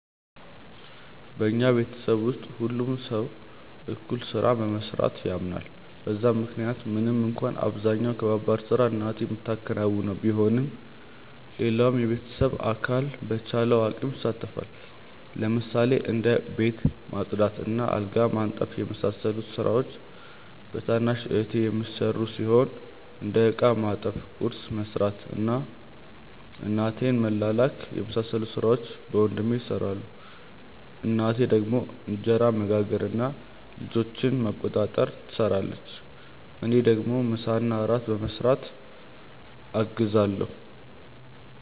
በኛ ቤተሰብ ውስጥ ሁሉም ሰው እኩል ስራን በመስራት ያምናል በዛም ምክንያት ምንም እንኳን አብዛኛውን ከባባድ ስራ እናቴ ምታከናውነው ቢሆንም ሌላውም የቤተሰብ አካል በቻለው አቅም ይሳተፋል። ለምሳሌ እንደ ቤት ማጽዳት እና አልጋ ማንጠፍ የመሳሰሉት ስራዎች በታናሽ እህቴ የሚሰሩ ሲሆን እንደ እቃ ማጠብ፣ ቁርስ መስራት እና እናቴን መላላክ የመሳሰሉት ሥራዎች በወንድሜ ይሰራሉ። እናቴ ደግሞ እንጀራ መጋገር እና ልጆችን መቆጣጠር ትሰራለች። እኔ ደግሞ ምሳና እራት በመስራት አግዛለሁ።